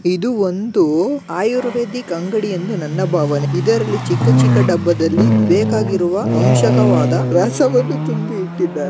ಇದು ಒಂದು ಆರ್ಯುವೆದಿಕ ಅಂಗಡಿ ಎಂದು ನನ್ನ ಭಾವನೆ ಇದರಲ್ಲಿ ಚಿಕ್ಕ ಚಿಕ್ಕ ಡಬ್ಬದಲ್ಲಿ ಬೆಕಾಗಿರುವ ವಂಶಕವಾದ ರಹಸ್ಯವನ್ನು ತುಂಬಿ ಇಟ್ಟಿದ್ದಾರೆ .